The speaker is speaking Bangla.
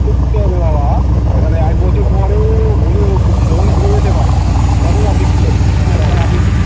মানে এক বছর পরেও ভুলে মন ঘুরে যেতে পারে তখন কি